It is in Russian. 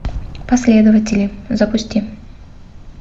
последователи запусти